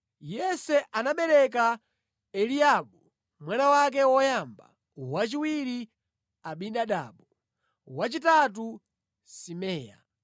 Yese anabereka Eliabu mwana wake woyamba, wachiwiri Abinadabu, wachitatu Simea,